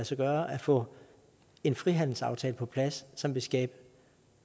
sig gøre at få en frihandelsaftale på plads som vil skabe